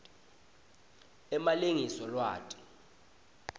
emalengiso lwati